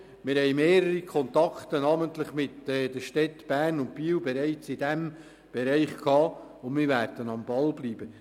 Wir haben bereits mehrere Kontakte mit den Städten, namentlich mit Bern und Biel, und wir werden am Ball bleiben.